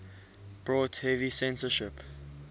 brought heavy censorship